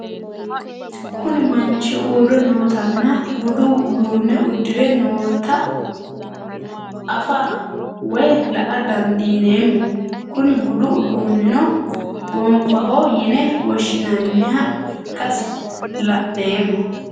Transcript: Kuni mannich uure nootana budu udune udire nootae afa woyi la'a dandineemo Kuni budu udunino gonfaho yine woshinaniha ikasi lan'emo?